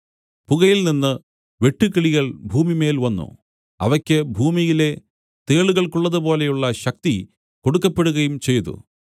പുകയിൽനിന്ന് വെട്ടുക്കിളികൾ ഭൂമിമേൽ വന്നു അവയ്ക്ക് ഭൂമിയിലെ തേളുകൾക്കുള്ളതുപോലെയുള്ള ശക്തി കൊടുക്കപ്പെടുകയും ചെയ്തു